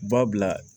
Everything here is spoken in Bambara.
Babila